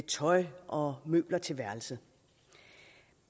tøj og møbler til værelset